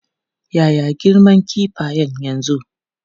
Ya ya girman kifayen yanzu?